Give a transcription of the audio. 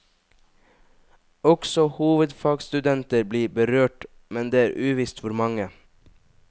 Også hovedfagsstudenter blir berørt, men det er uvisst hvor mange.